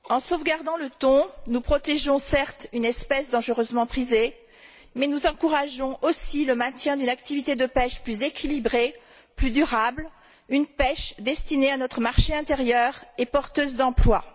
En sauvegardant le thon, nous protégeons certes une espèce dangereusement prisée, mais nous encourageons aussi le maintien d'une activité de pêche plus équilibrée, plus durable, une pêche destinée à notre marché intérieur et porteuse d'emplois.